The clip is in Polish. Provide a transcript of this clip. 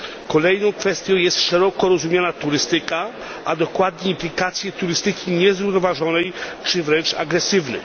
Kolejną kwestią jest szeroko rozumiana turystyka, a dokładnie implikacje turystyki niezrównoważonej czy wręcz agresywnej.